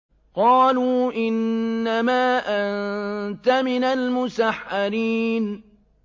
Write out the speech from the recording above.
قَالُوا إِنَّمَا أَنتَ مِنَ الْمُسَحَّرِينَ